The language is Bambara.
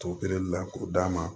To kelen la k'o d'a ma